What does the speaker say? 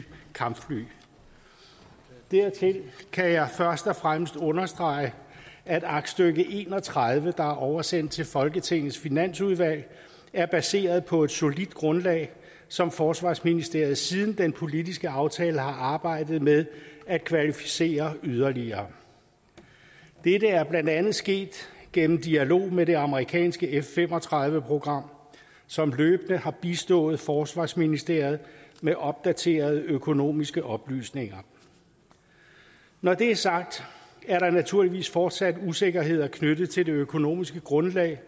kampfly dertil kan jeg først og fremmest understrege at aktstykke en og tredive der er oversendt til folketingets finansudvalg er baseret på et solidt grundlag som forsvarsministeriet siden den politiske aftale har arbejdet med at kvalificere yderligere dette er blandt andet sket gennem dialog med det amerikanske f fem og tredive program som løbende har bistået forsvarsministeriet med opdaterede økonomiske oplysninger når det er sagt er der naturligvis fortsat usikkerheder knyttet til det økonomiske grundlag